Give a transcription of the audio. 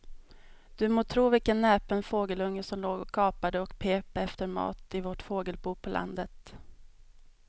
Du må tro vilken näpen fågelunge som låg och gapade och pep efter mat i vårt fågelbo på landet.